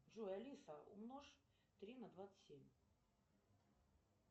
джой алиса умножь три на двадцать семь